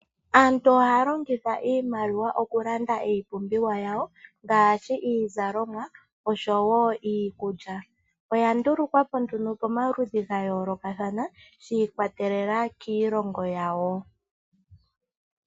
Aantu ohaya longitha iimaliwa okulanda iipumbiwa yawo ngaashi iizalomwa oshowo iikulya. Oya ndulukwa po nduno pomaludhi gayoolokathana shi ikwatelela kiilongo yawo.